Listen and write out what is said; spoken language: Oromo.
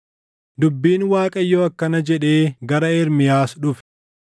Dubbiin Waaqayyoo akkana jedhee gara Ermiyaas dhufe: